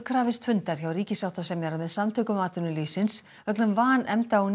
krafist fundar hjá ríkissáttasemjara með Samtökum atvinnulífsins vegna vanefnda á